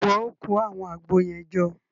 Ṣe iwọ o kó awọn Àgbo yẹn jọ?